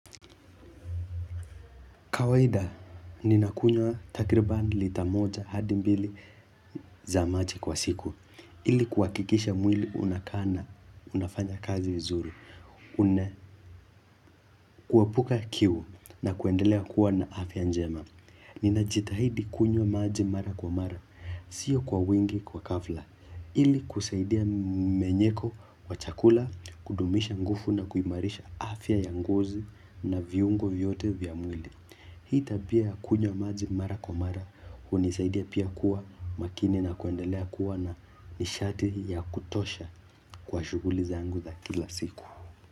Kawaida, ninakunywa takribani lita moja hadi mbili za maji kwa siku. Ili kuhakikisha mwili unakaa na, unafanya kazi vizuri. Una kuepuka kiu nakuendelea kuwa na afya njema. Ninajitahidi kunywa maji mara kwa mara, sio kwa wingi kwa ghafla. Ili kusaidia mmenyeko wa chakula, kudumisha nguvu na kuimarisha afya ya ngozi na viungo vyote vya mwili. Hii tabia ya kunywa maji mara kwa mara hunisaidia pia kuwa makini na kuendelea kuwa na nishati ya kutosha kwa shughuli zangu za kila siku.